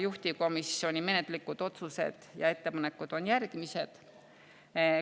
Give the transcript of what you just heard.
Juhtivkomisjoni menetluslikud otsused ja ettepanekud on järgmised.